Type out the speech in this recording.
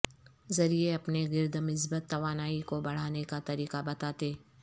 ذریعے اپنے گرد مثبت توانائی کو بڑھانے کا طریقہ بتاتے